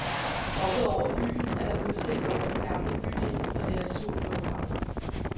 Oppe over byen er der udsigt over den gamle bydel og det azurblå hav.